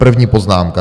První poznámka.